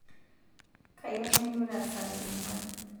Kayieu nailura sai okwan